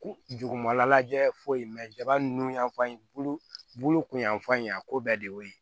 Jugumanlajɛ foyi ma mɛ jaba nun y'an fan ye bulu bulu kun y'an fan ye a ko bɛɛ de y'o ye